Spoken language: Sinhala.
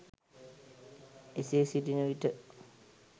එසේ සිටින විට